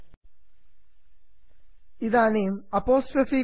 इदानीं apostrophe apostrophe कुड्मं नुदन्तु